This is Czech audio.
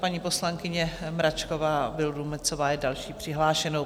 Paní poslankyně Mračková Vildumetzová je další přihlášenou.